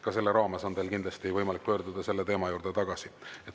Ka selle raames on teil kindlasti võimalik pöörduda selle teema juurde tagasi.